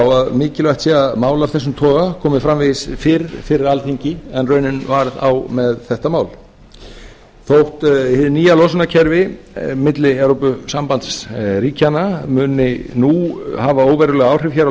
að mikilvægt sé að mál af þessum toga komi framvegis fyrr fyrir alþingi en raunin varð á með þetta mál þótt hið nýja losunarkerfi milli evrópusambandsríkjanna muni nú hafa óveruleg áhrif hér